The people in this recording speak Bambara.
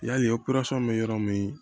Yali bɛ yɔrɔ min